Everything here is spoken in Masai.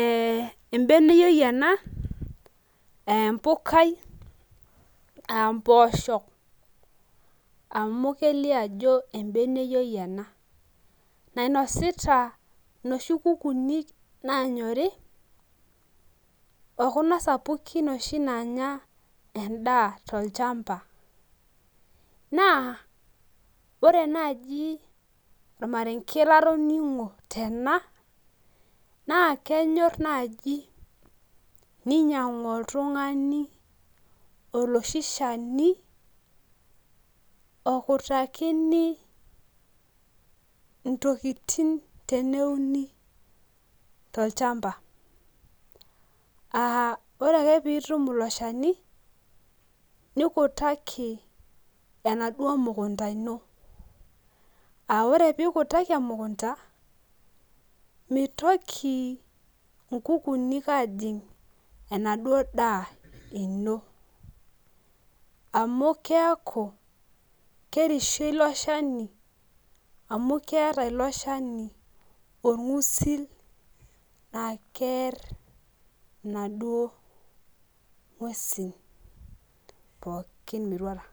ee ebeneyioi ena aa empukai aa mpoosho amu kelio ajo embeneyioi ena nainosita inoshi kukuuni naanyori okuna sapukin endaa tolchamba naa ore naaji ormarenge latotoning'o tena naa kenyorr naai eninyiang'u oltung'ani olchani okutakitini ntokitin teneuni tolchamba aa ore ake pee itum ilo shani nikutaki enaduoo mukunda ino, aa ore pee ikutaki emukunta mitoki nkukunik aajing' enaduo daa ino amu keeku kerishie ilo shani amu keeta ilo shani orng'usul laa keerr inaduo nguesin pookin metuata.